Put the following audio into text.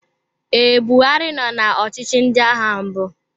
Ee, Buhari nọ na ọchịchị ndị agha mbụ.